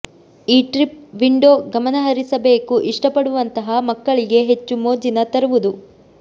ಈ trip window ಗಮನಹರಿಸಬೇಕು ಇಷ್ಟಪಡುವಂತಹ ಮಕ್ಕಳಿಗೆ ಹೆಚ್ಚು ಮೋಜಿನ ತರುವುದು